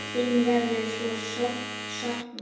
Þín verður svo sárt saknað.